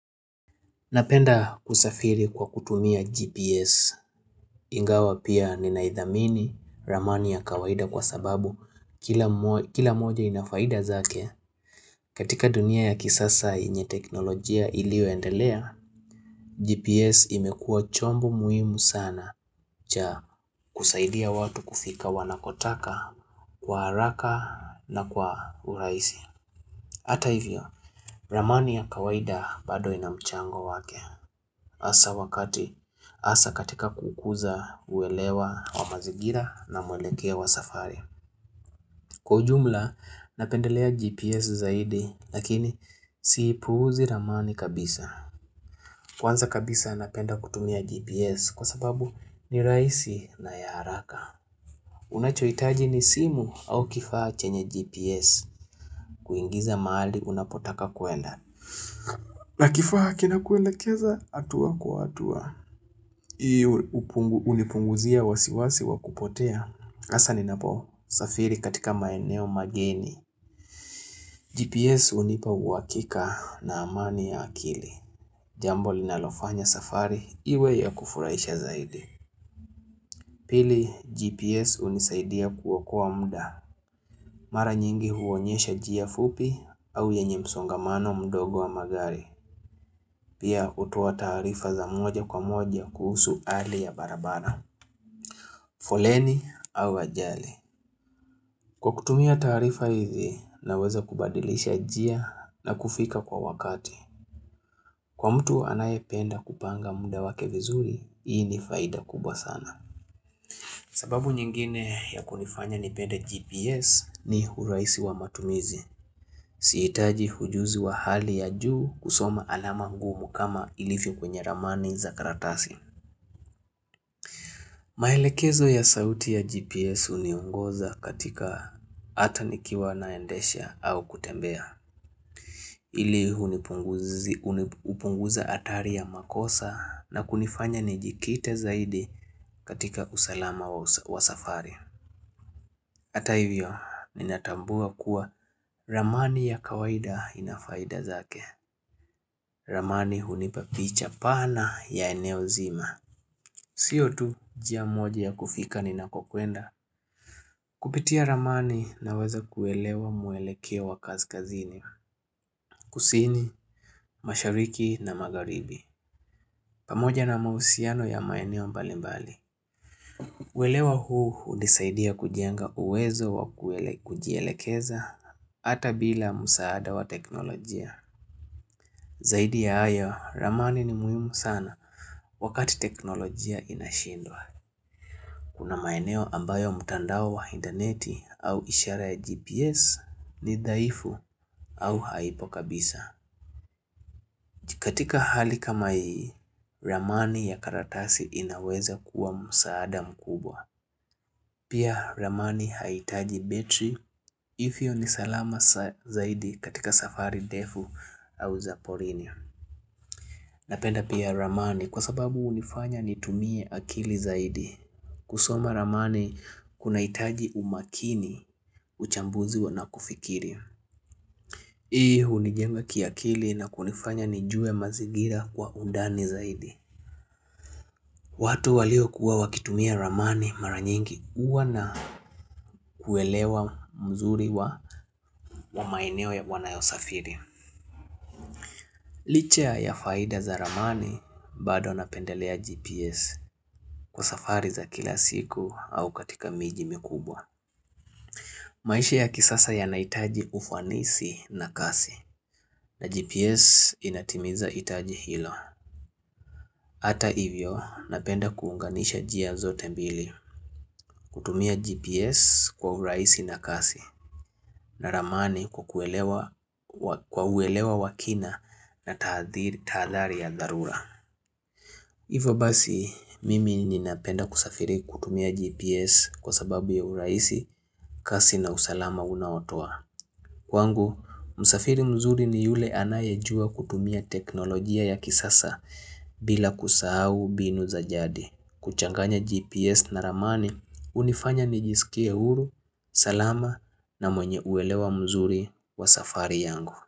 Napenda kusafiri kwa kutumia GPS ingawa pia ninaithamini ramani ya kawaida kwa sababu kila moja ina faida zake katika dunia ya kisasa yenye teknolojia iliyoendelea. GPS imekua chombo muhimu sana cha kusaidia watu kufika wanakotaka kwa haraka na kwa urahisi. Hata hivyo, ramani ya kawaida bado ina mchango wake. Hasa wakati, hasa katika kuukuza kuelewa wa mazingira na mwelekeo wa safari. Kwa ujumla, napendelea GPS zaidi, lakini siipuuzi ramani kabisa. Kwanza kabisa napenda kutumia GPS kwa sababu ni rahisi na ya haraka. Unachohitaji ni simu au kifaa chenye GPS kuingiza mahali unapotaka kuenda na kifaa kinakuelekeza hatua kwa hatua hiyo hunipunguzia wasiwasi wa kupotea hasa ninaposafiri katika maeneo mageni GPS hunipa uhakika na amani ya akili Jambo linalofanya safari iwe ya kufuraisha zaidi Pili GPS hunisaidia kuokoa muda Mara nyingi huonyesha njia fupi au yenye msongamano mdogo wa magari. Pia hutoa taarifa za moja kwa moja kuhusu hali ya barabara, foleni au ajali. Kwa kutumia taarifa hizi naweza kubadilisha njia na kufika kwa wakati. Kwa mtu anayependa kupanga muda wake vizuri, hii ni faida kubwa sana. Sababu nyingine ya kunifanya nipende GPS ni uraisi wa matumizi. Sihitaji ujuzi wa hali ya juu kusoma alama ngumu kama ilivyo kwenye ramani za karatasi. Maelekezo ya sauti ya GPS huniongoza katika hata nikiwa naendesha au kutembea. Ili upunguze hatari ya makosa na kunifanya nijikite zaidi katika usalama wa safari. Hata hivyo, ninatambua kuwa ramani ya kawaida ina faida zake. Ramani hunipa picha pana ya eneo zima. Sio tu, njia moja ya kufika ninakokwenda. Kupitia ramani naweza kuelewa mwelekeo wa kazikazini, kusini, mashariki na magharibi. Pamoja na mahusiano ya maeneo mbalimbali. Uelewa huu hunisaidia kujenga uwezo wa kujielekeza hata bila msaada wa teknolojia. Zaidi ya haya, ramani ni muhimu sana wakati teknolojia inashindwa. Kuna maeneo ambayo mutandao wa interneti au ishara ya GPS ni dhaifu au haipo kabisa. Katika hali kama hii, ramani ya karatasi inaweza kuwa msaada mkubwa. Pia ramani haihitaji betri hivyo ni salama zaidi katika safari ndefu au za porini. Napenda pia ramani kwa sababu hunifanya nitumie akili zaidi. Kusoma ramani kunahitaji umakini uchambuzi na kufikiria. Hii hunijenga kiakili na kunifanya nijue mazingira kwa undani zaidi. Watu waliokuwa wakitumia ramani mara nyingi huwa na kuelewa mzuri wa maeneo wanayosafiri. Licha ya faida za ramani bado napendelea GPS kwa safari za kila siku au katika miji mikubwa. Maisha ya kisasa yanahitaji ufanisi na kasi na GPS inatimiza hitaji hilo. Hata hivyo napenda kuunganisha njia zote mbili kutumia GPS kwa urahisi na kasi. Na ramani kwa uelewa wa kina na tahadhari ya dharura hivyo basi, mimi ninapenda kusafiri kutumia GPS kwa sababu ya urahisi, kasi na usalama unaotoa Kwangu, msafiri mzuri ni yule anayejua kutumia teknolojia ya kisasa bila kusahau mbinu za jadi kuchanganya GPS na ramani hunifanya nijisikie huru, salama na mwenye uelewa mzuri wa safari yangu.